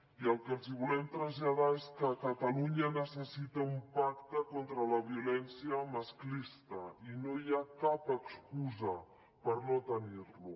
i el que els volem traslladar és que catalunya necessita un pacte contra la violència masclista i no hi ha cap excusa per no tenir lo